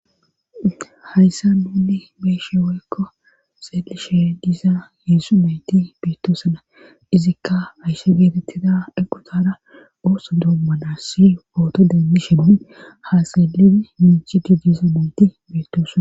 Hayssa nuunni beeshe woykko seelishe diza yeesu nayti biittoosana izikka ayse geetettida eqotara ooso doommanas si pooto deemmishemon ha seelidi minchidi disa monti beittoosana